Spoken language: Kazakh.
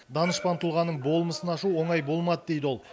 данышпан тұлғаның болмысын ашу оңай болмады дейді ол